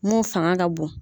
Mun fangan ka bon.